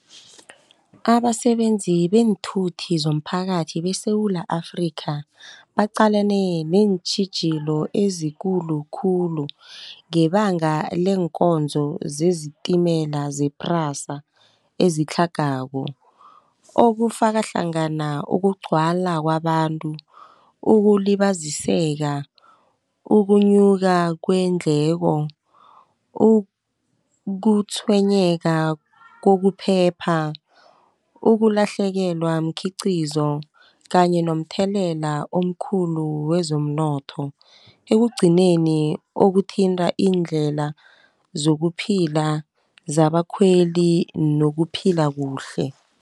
Abasebenzi beenthuthi zomphakathi beSewula Afrikha baqalene neentjhijilo ezikulukhulu, ngebanga leenkonzo zezitimela ze-PRASA ezitlhagako. Okufaka hlangana ukugcwala kwabantu, ukulibaziseka, ukunyuka kweendleko, ukutshwenyeka kokuphepha, ulahlekelwa mkhiqizo, kanye nomthelela omkhulu wezomnotho. Ekugcineni okuthinta iindlela zokuphila zabakhweli nokuphila kuhle.